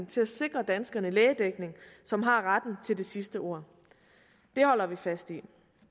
til at sikre danskerne lægedækning som har retten til det sidste ord det holder vi fast i